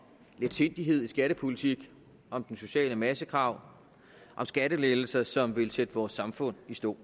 letsindighed i skattepolitik om den sociale massegrav om skattelettelser som vil sætte vores samfund i stå